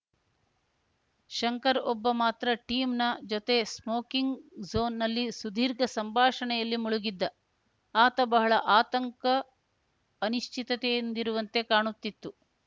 ಶಂಕರ್‌ ಒಬ್ಬ ಮಾತ್ರ ಟಿಮ್‌ ನ ಜೊತೆ ಸ್ಮೋಕಿಂಗ್‌ ಝೋನಿನಲ್ಲಿ ಸುದೀರ್ಘ ಸಂಭಾಷಣೆಯಲ್ಲಿ ಮುಳುಗಿದ್ದ ಆತ ಬಹಳ ಆತಂಕ ಅನಿಶ್ಚಿತತೆಯಿಂದಿರುವಂತೆ ಕಾಣುತ್ತಿತ್ತು